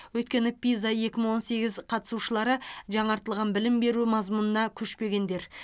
өйткені пиза екі мың он сегіз қатысушылары жаңартылған білім беру мазмұнына көшпегендер